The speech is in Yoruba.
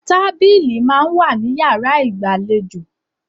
Tábílì máa ń wà ní yàrá ìgbàlejò